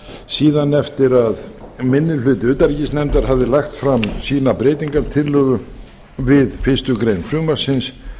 síðan eftir að minni hluti utanríkisnefndar hafði lagt fram sína breytingartillögu við fyrstu grein frumvarpsins